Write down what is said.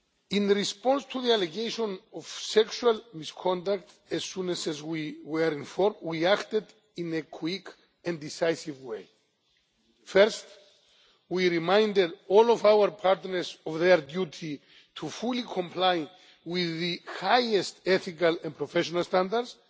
In response to the allegation of sexual misconduct, as soon as we were informed, we acted in a quick and decisive way. First, we reminded all of our partners of their duty to fully comply with the highest ethical and professional standards.